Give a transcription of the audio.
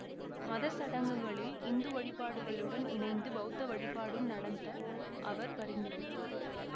மத சடங்குகளில் இந்து வழிபாடுகளுடன் இணைந்து பௌத்த வழிபாடும் நடத்த அவர் பரிந்துரைத்தார்